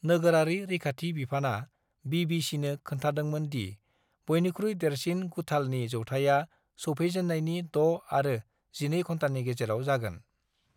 नोगोरारि रैखाथि बिफाना बि.बि.चि.नो खोन्थादोंमोन दि बयनिख्रुइ देरसिन गुथालनि जौथाइआ सौफैजेननायनि द' आरो जिनै घन्टानि गेजेराव जागोन।